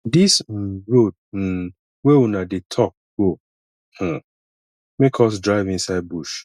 dis um road um wey una dey tok go um make us drive inside bush